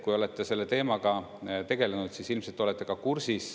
Kui olete selle teemaga tegelenud, siis ilmselt olete ka kursis.